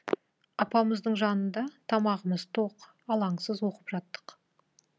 апамыздың жанында тамағымыз тоқ алаңсыз оқып жаттық